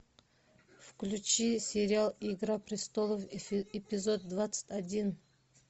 включи сериал игра престолов эпизод двадцать один